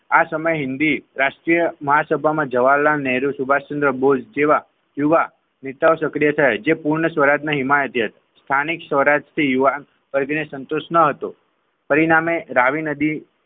આ સમય હિન્દી રાષ્ટ્રીય મા સભામાં જવાહરલાલ નહેરુ સુભાષચંદ્ર બોઝ જેવા યુવા નેતાઓ સકડીયા થાય જે પૂર્ણ સ્વરાજના હિમાયતી સ્થાનિક સ્વરાજ થી યુવાન વર્ગને સંતોષ ન હતો પરિણામે રાવી નદી.